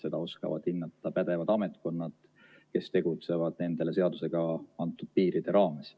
Seda oskavad hinnata pädevad ametkonnad, kes tegutsevad nendele seadusega antud piiride raames.